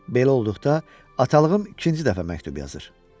Belə olduqda atalığım ikinci dəfə məktub yazır.